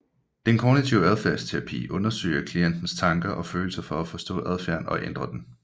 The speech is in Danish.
Den kognitive adfærdsterapi undersøger klientens tanker og følelser for at forstå adfærden og ændre den